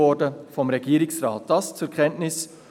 Dies vorab zur Kenntnis.